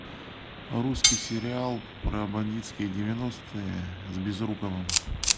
русский сериал про бандитские девяностые с безруковым